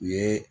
U ye